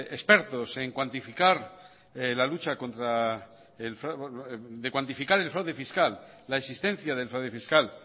expertos en cuantificar el fraude fiscal la existencia del fraude fiscal